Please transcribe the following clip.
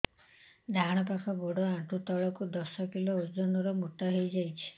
ଡାହାଣ ପାଖ ଗୋଡ଼ ଆଣ୍ଠୁ ତଳକୁ ଦଶ କିଲ ଓଜନ ର ମୋଟା ହେଇଯାଇଛି